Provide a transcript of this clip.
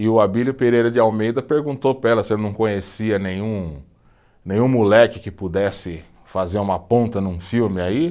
E o Abílio Pereira de Almeida perguntou para ela se não conhecia nenhum, nenhum moleque que pudesse fazer uma ponta num filme aí.